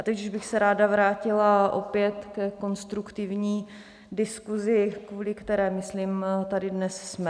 A teď už bych se ráda vrátila opět ke konstruktivní diskusi, kvůli které, myslím, tady dnes jsme.